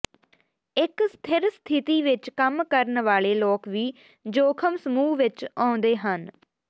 ਇੱਕ ਸਥਿਰ ਸਥਿਤੀ ਵਿੱਚ ਕੰਮ ਕਰਨ ਵਾਲੇ ਲੋਕ ਵੀ ਜੋਖਮ ਸਮੂਹ ਵਿੱਚ ਆਉਂਦੇ ਹਨ